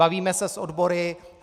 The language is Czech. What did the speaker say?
Bavíme se s odbory.